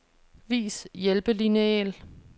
Vis hjælpelineal.